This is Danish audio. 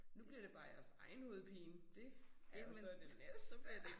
Nu bliver det bare jeres egen hovedpine. Det er jo så det næste